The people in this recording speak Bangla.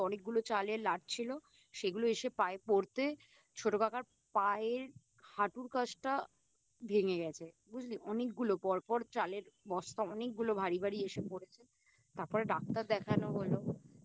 অনেকগুলো চালের লাট ছিল সেগুলো এসে পায়ে পড়তে ছোটোকাকার পায়ের হাঁটুর কাছটা ভেঙে গেছে বুঝলি অনেকগুলো পরপর চালের বস্তা অনেকগুলো ভারী ভারী এসে পড়েছে তারপর ডাক্তার দেখানো হলো